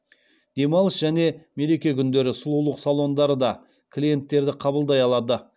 демалыс және мереке күндері сұлулық салондары да клиенттерді қабылдай алады